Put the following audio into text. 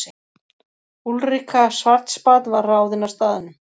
Úlrika Schwartzbad var ráðin á staðnum.